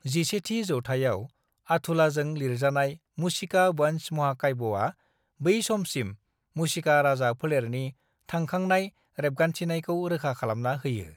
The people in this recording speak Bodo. "11थि जौथाइआव अथुलाजों लिरजानाय मुशिका-वंश महाकाव्यआ, बै समसिम मुशिका राजा फोलेरनि थांखांनाय रेबगान्थिनायखौ रोखा खालामना होयो।"